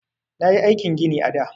Nayi aikin gini a da.